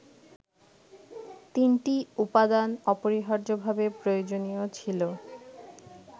তিনটি উপাদান অপরিহার্যভাবে প্রয়োজনীয় ছিল